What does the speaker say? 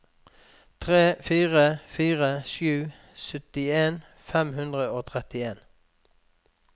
tre fire fire sju syttien fem hundre og trettien